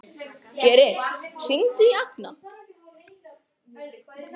Geri, hringdu í Agna.